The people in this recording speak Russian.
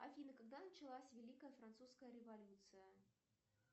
афина когда началась великая французская революция